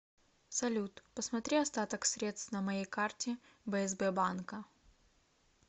салют посмотри остаток средств на моей карте бсб банка